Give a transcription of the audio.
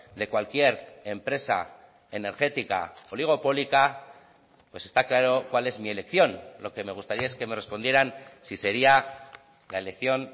de cualquier empresa energética oligopólica pues está claro cuál es mi elección lo que me gustaría es que me respondieran si sería la elección